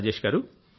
రాజేష్ గారూ